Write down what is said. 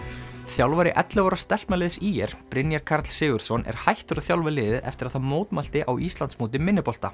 þjálfari ellefu ára stelpnaliðs ÍR Brynjar Karl Sigurðsson er hættur að þjálfa liðið eftir að það mótmælti á Íslandsmóti minnibolta